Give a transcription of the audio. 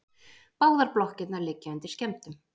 Báðar blokkirnar liggja undir skemmdum